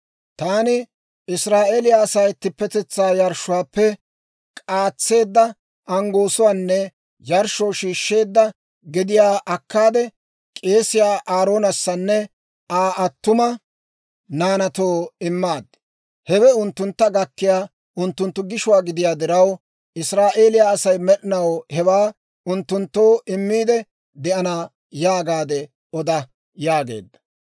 Taani Israa'eeliyaa asaa ittippetetsaa yarshshuwaappe k'aatseedda anggoosuwaanne yarshshoo shiishsheedda gediyaa akkaade, k'eesiyaa Aaroonassanne Aa attuma naanaatoo immaad; hewe unttuntta gakkiyaa unttunttu gishuwaa gidiyaa diraw, Israa'eeliyaa Asay med'inaw hewaa unttunttoo immiidde de'ana› yaagaade oda» yaageedda.